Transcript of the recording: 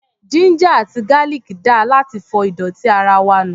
Ginger àti garlic dáa láti fọ ìdọ̀tí ara wa nù.